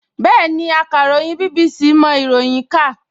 Bẹ́ẹ̀ni, akàròyìn BBC mọ ìròyìn kà